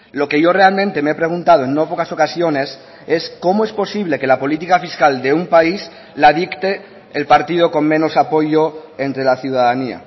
lo que yo realmente me he preguntado en no pocas ocasiones es cómo es posible que la política fiscal de un país la dicte el partido con menos apoyo entre la ciudadanía